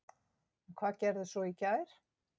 En hvað gerist svo í gær?